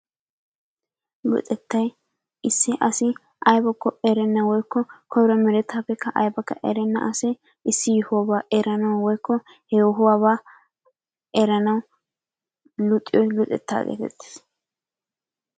Luxettay issi asi aybakko erenna woykko koyro meretaappe aybbakka erenna asi issi yohuwaa erannawu woykko he yohuwaaba eranawu luxiyo luxettaa geetettees.